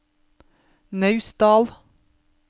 Naustdal